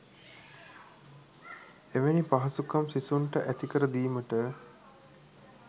එවැනි පහසුකම් සිසුන්ට ඇති කර දීමට